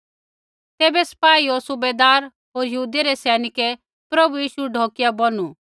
तैबै सपाई होर सूबैदार होर यहूदियै रै सैनिकै प्रभु यीशु ढौकिया बौनु